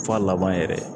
F'a laban yɛrɛ